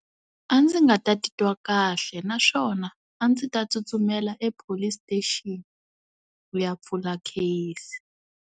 A ndzi nga ta titwa kahle, naswona a ndzi ta tsutsumela e-Police station ku ya pfula kheyisi.